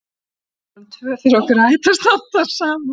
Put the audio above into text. Klukkan var orðin tvö þegar okkur hætti að standa á sama.